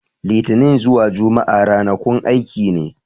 Litini zuwa Jumma'a ranakun aiki ne.